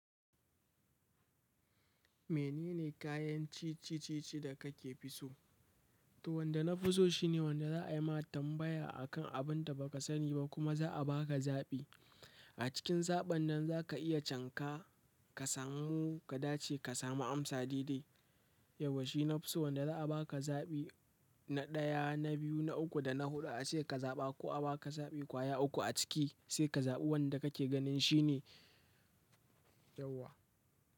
Menene kayan ci ci ci da kake fi so? To wanda nafiso, shine wanda za yi ma tambaya akan abunda bakasani ba kuma za'abaka zaɓi a cikin zaɓen nan za ka iya canka ka samu ka dace ka samu amsa daidai. Yauwa shi nafi so wanda za a ba ka zaɓi na ɗaya, na biyu, na uku da na huɗu a ce ka zaɓa ko a ba ka zaɓi kwaya uku a ciki sai ka zaɓi wanda kake ganin shine yauwa.